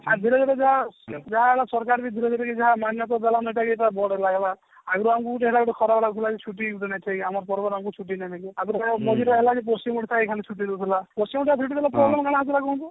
ଆଗରୁ ଗୁଟେ ଯାହା ଯାହା ଆମ ସରକାର ବି ଧୀରେ ଧୀରେ ମାନ୍ୟତା ଦେଲାନ ହେଟା ଭଲ ଲାଗିଲା ଆଗରୁ ହେଟା ଆମକୁ ଗୁଟେ ଖରାପ ଲାଗୁଥିଲା କି ଛୁଟି ବି ବନେଇଛିଇ ଆମର ପର୍ବରେ ଆମକୁ ଛୁଟି ବି ମିଳିଲା ହେଲକି ପଶ୍ଚିମ ଓଡିଶାରେ ଛୁଟି ଦେଉଥିଲା ପଶ୍ଚିମ ଟା ଆମକୁ କାଣା